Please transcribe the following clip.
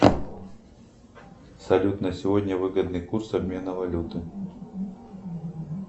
салют на сегодня выгодный курс обмена валюты